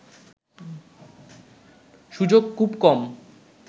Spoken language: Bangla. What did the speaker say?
সুযোগ খুব কম